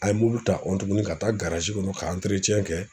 An ye mulu ta tuguni ka taa kɔnɔ ka kɛ